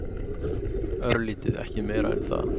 Örlítið, ekki meira en það.